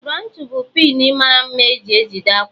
Broochu bụ pịn mara mma e ji ejide akwa